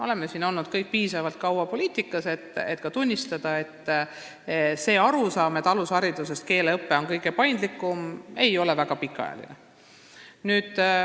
Me kõik oleme piisavalt kaua poliitikas olnud, tunnistamaks, et arusaam keeleõppest alushariduses, kus see on kõige paindlikum, ei ole väga pikaajaline.